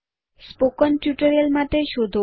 spoken tutorial માટે શોધો